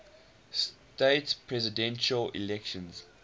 states presidential election